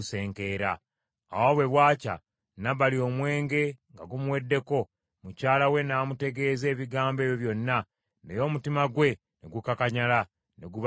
Awo bwe bwakya, Nabali omwenge nga gumuweddeko, mukyala we n’amutegeeza ebigambo ebyo byonna, naye omutima gwe ne gukakanyala, ne guba ng’ejjinja.